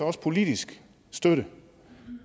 også politisk støtte